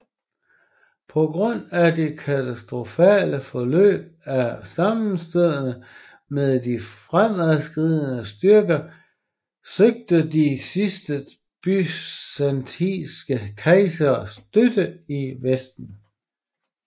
På grund af det katastrofale forløb af sammenstødene med de fremadskridende tyrker søgte de sidste byzantinske kejsere støtte i Vesten